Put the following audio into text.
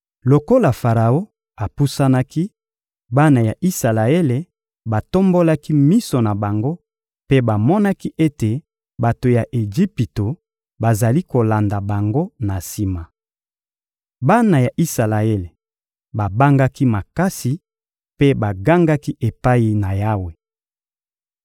Lokola Faraon apusanaki, bana ya Isalaele batombolaki miso na bango mpe bamonaki ete bato ya Ejipito bazali kolanda bango na sima. Bana ya Isalaele babangaki makasi mpe bagangaki epai na Yawe.